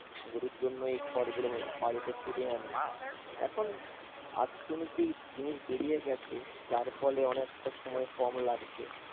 গরুর জন্য এই খড়গুলো বাড়িতে ফিরিয়ে আনি, এখন আত্তনুতিক জিনিস বেড়িয়ে গেছে, যার ফলে অনেকটা সময় কম লাগছে